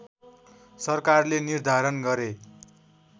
सरकारले निर्धारण गरे